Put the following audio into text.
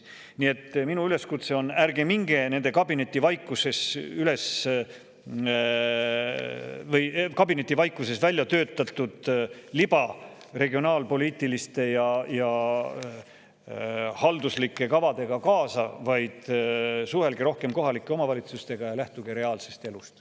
Nii et minu üleskutse on: ärge minge nende kabinetivaikuses välja töötatud libaregionaalpoliitiliste ja halduslike kavadega kaasa, vaid suhelge rohkem kohalike omavalitsustega ja lähtuge reaalsest elust.